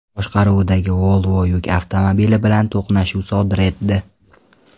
boshqaruvidagi Volvo yuk avtomobili bilan to‘qnashuv sodir etdi.